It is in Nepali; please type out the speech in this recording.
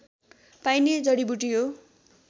पाइने जडिबुटी हो